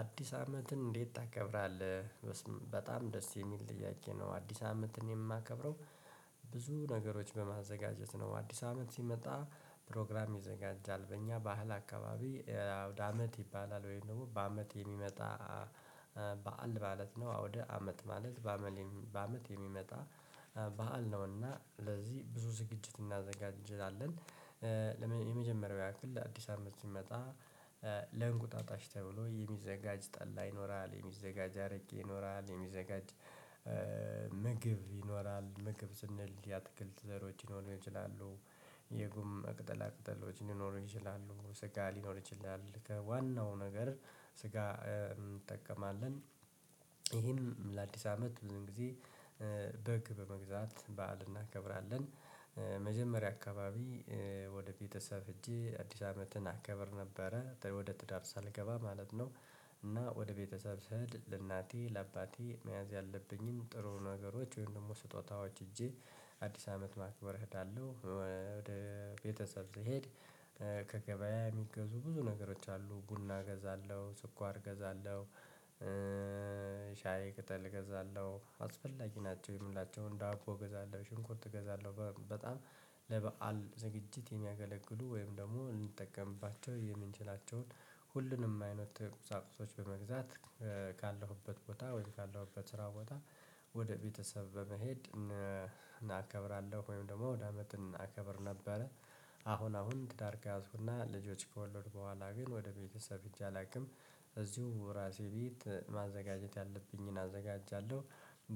አዲስ አመትን እንዴት ታከብራለህ? በጣም ደስ የሚል ጥያቄ ነው አዲስ አመትን የማከብረው። ብዙ ነገሮች በማዘጋጀት ነው። አዲስ አመት ሲመጣ ፕሮግራም ይዘጋጃል በእኛ ባህል አካባቢ። አውድ አመት ይባላል ወይም ደግሞ በአመት የሚመጣ በዓል ማለት ነው። አውድ አመት ማለት በአመት በአመት የሚመጣ በዓል ነውና ለዚህ ብዙ ዝግጅት እናዘጋጃለን። የመጀመሪያው ያክል አዲስ አመት ሲመጣ ለእንቁጣጣሽ ተብሎ የሚዘጋጅ ጠላ ይኖራል የሚዘጋጅ አርቄ ይኖራል የሚዘጋጅ ምግብ ይኖራል። ምግብ ስንል የአትክልት ዘሮች ሊኖሩ ይችላሉ። የጉም ቅጠላ ቅጠሎች ሊኖሩ ይችላሉ ስጋ ሊኖር ይችላል ከዋናው ነገር ስጋ እንጠቀማለን። ይሄን ለአዲስ አመት ብዙን ጊዜ በግ በመግዛት በዓል እናከብራለን። መጀመሪያ አካባቢ ወደ ቤተሰብ ሄጄ አዲስ አመትን አከበር ነበረ ወደ ትዳር ሳልገባ ማለት ነው። እና ወደ ቤተሰብ ስሄድ ለእናቴ ለአባቴ መያዝ ያለብኝም ጥሩ ነገሮች ወይም ደግሞ ስጦታዎች ይዤ አዲስ አመት ማክበር እሄዳለሁ። ወደ ቤተሰብ ስሄድ ከገበያ የሚገዙ ብዙ ነገሮች አሉ ቡና እገዛለሁ ስኳር እገዛለሁ። ሻይ ቅጠል እገዛለሁ አስፈላጊ ናቸው የምላቸውን ዳቦ እገዛለሁ ሽንኩርት እገዛለሁ። በጣም ለበአል ዝግጅት የሚያገለግሉ ወይም ደግሞ ልንጠቀምባቸው የምንችላቸውን ሁሉንም አይነት ቁሳቁሶች በመግዛት ካለሁበት ቦታ ወይም ካለሁበት ስራ ቦታ ወደ ቤተሰብ በመሄድ እናከብራለሁ። ወይም ደግሞ አውድአመትን አከብር ነበረ። አሁን አሁን ትዳር ጋር ከያዝኩና ልጆች ከወለድኩ በኋላ ግን ወደ ቤተሰብ ሄጄ አላውቅም። እዚሁ ራሴ ቤት ማዘጋጀት ያለብኝን አዘጋጃለሁ።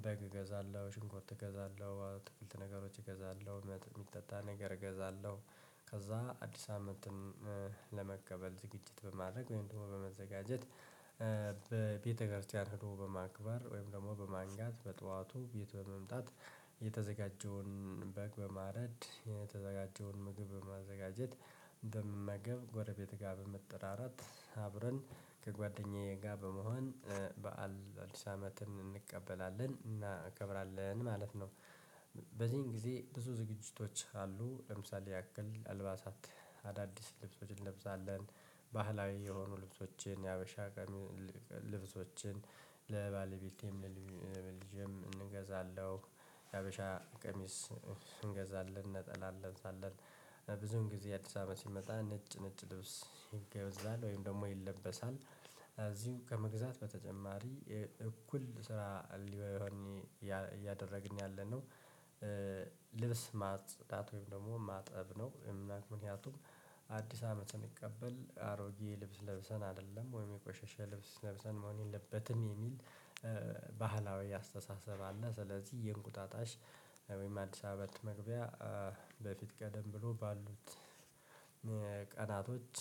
በግ እገዛለሁ ሽንኩርት እገዛለሁ አትክልት ነገሮች እገዛለሁ የሚጠጣ ነገር እገዛለሁ። ከዛ አዲስ አመትን ለመቀበል ዝግጅት በማድረግ ወይም ደግሞ በመዘጋጀት። በቤተክርስቲያን ሄዶ በማክበር ወይም ደግሞ በማንጋት በጠዋቱ ቤት በመምጣት። የተዘጋጀውን በግ በማረድ የተዘጋጀውን ምግብ በማዘጋጀት እንደምመገብ ጎረቤት ጋር በመጠራራት አብረን ከጓደኛዬ ጋር በመሆን በዓል አዲስ አመትን እንቀበላለን እናከብራለን ማለት ነው። በዚህን ጊዜ ብዙ ዝግጅቶች አሉ ለምሳሌ ያክል አልባሳት አዳዲስ ልብሶችን እንለብሳለን። ባህላዊ የሆኑ ልብሶችን የሀበሻ ቀሚ ልብሶችን ለባለቤቴም ለልጄም እንገዛለሁ። የሀበሻ ቀሚስ እንገዛለን ነጠላ እንለብ ሳለን። ብዙን ጊዜ አዲስ አመት ሲመጣ ነጭ ነጭ ልብስ ይገይዛል ወይም ደግሞ ይለበሳል እዚሁ ከመግዛት በተጨማሪ እኩል ስራ ሊሆን እያደረግን ያለነው ልብስ ማጽዳት ወይም ደግሞ ማጠብ ነው። ምንያቱም አዲስ አመትን ስንቀበል አሮጌ ልብስ ለብሰን አይደለም ወይም የቆሸሸ ልብስ ለብሰን መሆን የለበትም የሚል ባህላዊ አስተሳሰብ አለ። ስለዚህ የእንቁጣጣሽ ወይም አዲስ አመት መግቢያ በፊት ቀደም ብሎ ባሉት ቀናቶች።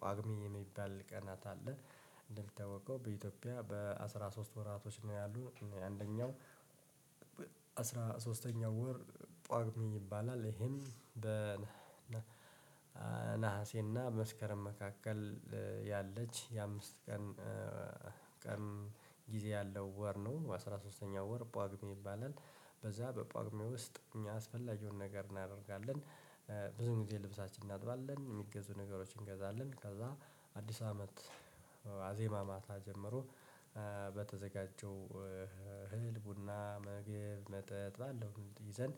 ጳጉሜ የሚባል ቀናት አለ እንደምታወቀው በኢትዮጵያ በአስራ ሶስት ወራቶች ነው ያሉት። አንደኛው አስራ ሶስተኛው ወር ጳጉሜ ይባላል። ይሄን በነሐሴና በመስከረም መካከል ያለች የአምስት ቀን ቀን ጊዜ ያለው ወር ነው አስራ ሶስተኛው ወር ጳጉሜ ይባላል። በዛ በጳጉሜ ውስጥ እኛ ያስፈለገውን ነገር እናደርጋለን። ብዙ ጊዜ ልብሳችን እናጥባለን የሚገዙ ነገሮችን እንገዛለን ከዛ አዲስ አመት። ዋዜማ ማታ ጀምሮ በተዘጋጀው እህል ቡና መግብ መጠጥ ባለው ይዘን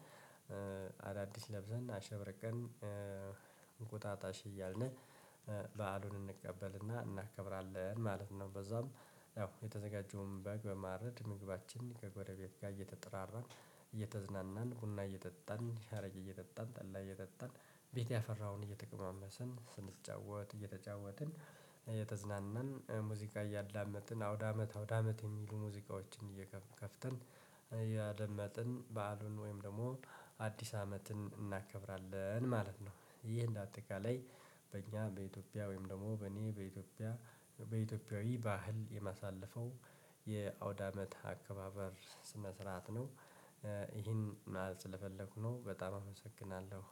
አዳዲስ ለብሰን አሸብርቀን እንቁጣጣሽ እያልን በዓሉን እንቀበልና እናከብራለን ማለት ነው። በዛውም ያው የተዘጋጀውን በግ በማረድ ምግባችን ከጎረቤት ጋር እየተጠራራን። ቡና እየጠጣን ሀረግ እየጠጣን ጠላ እየጠጣን ቤት ያፈራውን እየተቀማመሰን ስንጫወት እየተጫወትን እየተዝናናን ሙዚቃ እያዳመጥን አውዳመት አውዳመት የሚሉ ሙዚቃዎችን እየከፈተን። ያደመጥን በዓሉን ወይም ደግሞ አዲስ አመትን እናከብራለን ማለት ነው። ይህ እንደ አጠቃላይ በእኛ በኢትዮጵያ ወይም ደግሞ በእኔ በኢትዮጵያ በኢትዮጵያዊ ባህል የማሳለፈው የአውዳመት አከባበር ስነ ስርዓት ነው። ይሄን ማለት ስለፈለኩ ነው በጣም አመሰግናለሁ።